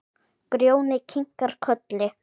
Grjóni kinkar kolli.